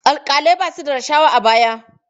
Alƙalai ba su da rashawa a baya.